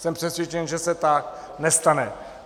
Jsem přesvědčen, že se tak nestane.